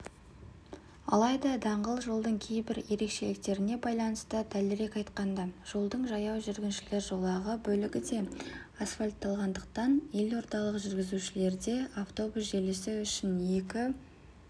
алайда даңғыл жолдың кейбір ерекшеліктеріне байланысты дәлірек айтқанда жолдың жаяу жүргіншілер жолағы бөлігі де асфальтталғандықтан елордалық жүргізушілерде автобус желісі үшін екі